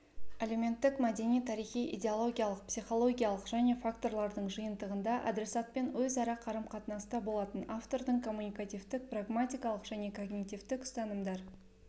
әлеуметтік мәдени-тарихи идеологиялық психологиялық және факторлардың жиынтығында адресатпен өзара қарым-қатынаста болатын автордың коммуникативтік-прагматикалық және когнитивтік ұстанымдар